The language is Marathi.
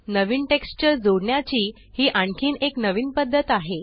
नवीन टेक्स्चर जोडण्याची ही आणखीन एक नवीन पद्धत आहे